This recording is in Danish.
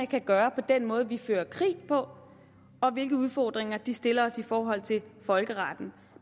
kan gøre ved den måde vi fører krig på og hvilke udfordringer det stiller os i forhold til folkeretten